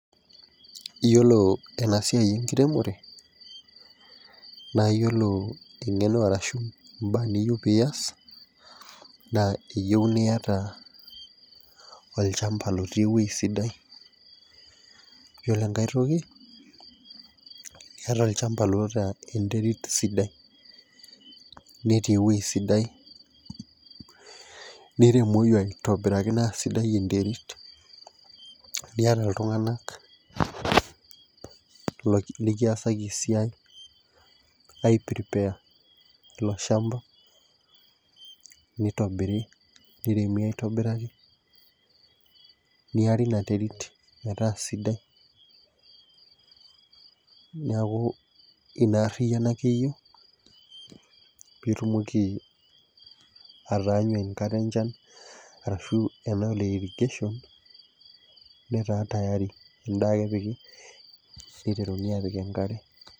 Iyiolo ena siai enkiremore naa iyiolo engeno arashu imbaa nijo pee iyas. naa iyieu niyata olchampa otii ewueji sidai. iyiolo enkae toki iyatao olchampa oota enterit sidai. netii ewueji sidai, niremoki aitobiraki sidai enterit. nipik iltunganak likiasaki esiai, ai prepare ilo shampa. nitobiri, niremi aitobiraki, neyari Ina terit, metaa sidai. niaku Ina ariyiano ake eyieu pee itumoki ataanyu enkata encha arashu ena e irrigation metaa tayari. edaa ake epiki. niteruni aapik enkare.